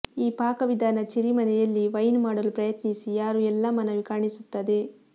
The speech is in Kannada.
ಈ ಪಾಕವಿಧಾನ ಚೆರ್ರಿ ಮನೆಯಲ್ಲಿ ವೈನ್ ಮಾಡಲು ಪ್ರಯತ್ನಿಸಿ ಯಾರು ಎಲ್ಲಾ ಮನವಿ ಕಾಣಿಸುತ್ತದೆ